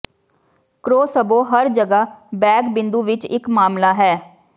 crossbow ਹਰ ਜਗ੍ਹਾ bag ਬਿੰਦੂ ਵਿਚ ਇਕ ਮਾਮਲਾ ਹੈ